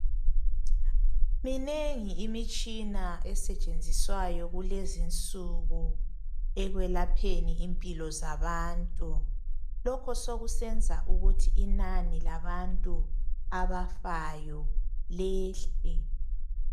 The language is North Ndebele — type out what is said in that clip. Minengi imitshina esetshenziswayo kulezi insuku ekwelapheni impilo zabantu lokhu sokusenza ukuthi inani labantu abafayo liyehle.